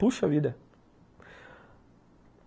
Puxa vida.